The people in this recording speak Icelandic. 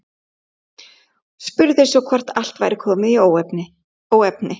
Spurði svo hvort allt væri komið í óefni.